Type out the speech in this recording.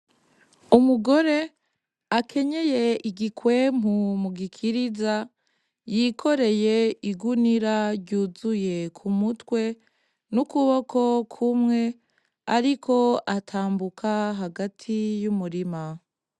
Umugore akenyeye igikwempu mu gikiriza yikoreye igunira ryuzuye ku mutwe n'ukuboko kumwe, ariko atambuka hagati y'umurima.